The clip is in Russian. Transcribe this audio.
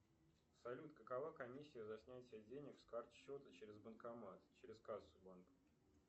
салют какова комиссия за снятие денег с карт счета через банкомат через кассу банка